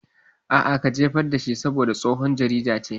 A'a, ka jefar dashi saboda tsohon jarida ce